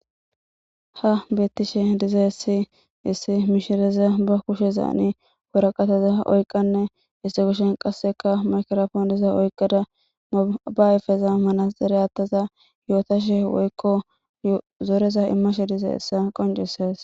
Ha beettishe diza issi issi miishireza ba kushe zaani wuraqataza oyqanne isse kushen qasseka makrofooniza oykqada mabayfeza manaere attaza yootashe woykko zoreza immashe dize issa qoncisees.